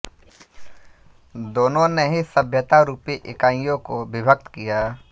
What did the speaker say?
दोनों ने ही सभ्यता रूपी इकाइयों को विभक्त किया